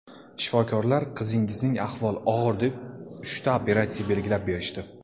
Shifokorlar qizingizning ahvoli og‘ir deb uchta operatsiya belgilab berishdi.